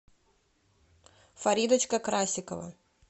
фаридочка красикова